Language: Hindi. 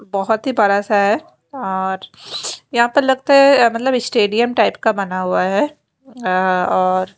बहोत ही बरा सा है और यहाँ पर लगता है अ मतलब इशटेडियम टाइप का बना हुआ है अ और --